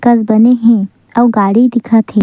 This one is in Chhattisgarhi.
कस बने हे अउ गाड़ी दिखत हे।